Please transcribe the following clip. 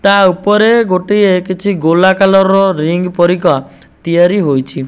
ତା ଉପରେ ଗୋଟେ କିଛି ଗୋଲାକାର ରିଙ୍ଗ ପରିକା ତିଆରି ହୋଇଛି।